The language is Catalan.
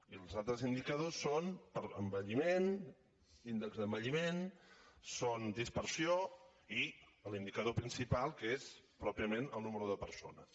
i els altres indicadors són envelliment índex d’envelliment són dispersió i l’indicador principal que és pròpiament el nombre de persones